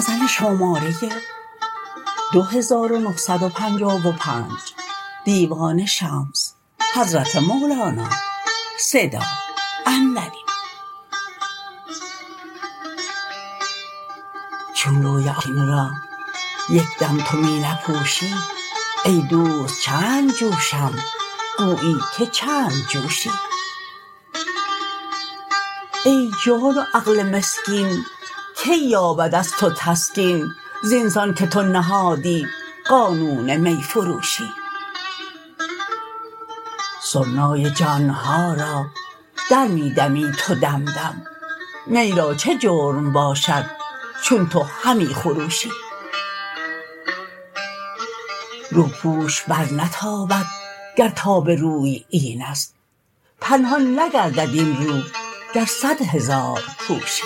چون روی آتشین را یک دم تو می نپوشی ای دوست چند جوشم گویی که چند جوشی این جان و عقل مسکین کی یابد از تو تسکین زین سان که تو نهادی قانون می فروشی سرنای جان ما را در می دمی تو دم دم نی را چه جرم باشد چون تو همی خروشی روپوش برنتابد گر تاب روی این است پنهان نگردد این رو گر صد هزار پوشی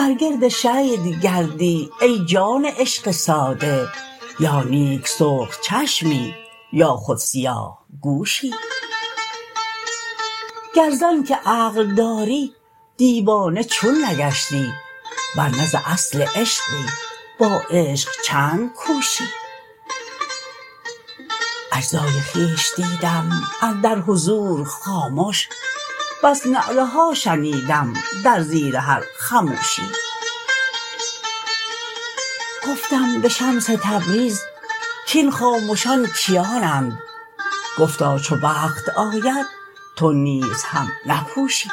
بر گرد شید گردی ای جان عشق ساده یا نیک سرخ چشمی یا خود سیاه گوشی گر ز آنک عقل داری دیوانه چون نگشتی ور نه از اصل عشقی با عشق چند کوشی اجزای خویش دیدم اندر حضور خامش بس نعره ها شنیدم در زیر هر خموشی گفتم به شمس تبریز کاین خامشان کیانند گفتا چو وقت آید تو نیز هم نپوشی